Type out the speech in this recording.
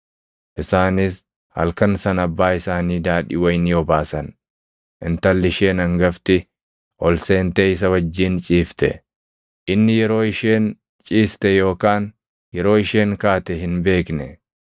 Isaanis halkan sana abbaa isaanii daadhii wayinii obaasan; intalli isheen hangafti ol seentee isa wajjin ciifte. Inni yeroo isheen ciiste yookaan yeroo isheen kaate hin beekne.